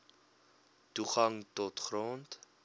toegang tot grond